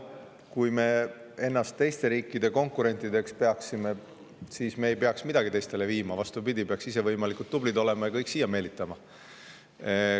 Kui me ennast teiste riikide konkurentideks peaksime, siis me ei peaks midagi teistele viima, vastupidi, peaksime ise võimalikult tublid olema ja kõiki siia meelitama.